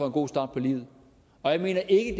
en god start på livet jeg mener ikke